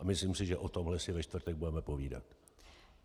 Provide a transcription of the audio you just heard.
A myslím si, že o tomhle si ve čtvrtek budeme podívat.